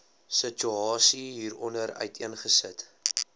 situasie hieronder uiteengesit